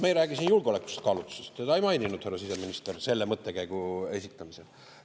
Me ei räägi siin julgeolekukaalutlustest, seda ei maininud härra siseminister selle mõttekäigu esitamisel.